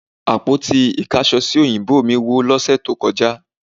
Àpótí ìkáṣọsí ò̀yìnbó mí wó lọ́sẹ̀ tó kọjá